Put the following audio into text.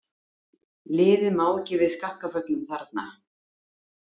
Liðið má ekki við skakkaföllum þarna.